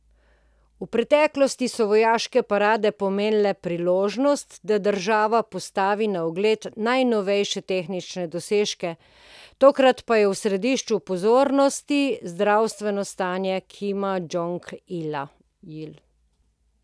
V preteklosti so vojaške parade pomenile priložnost, da država postavi na ogled najnovejše tehnične dosežke, tokrat pa je središču pozornosti zdravstveno stanje Kima Džonga Ila.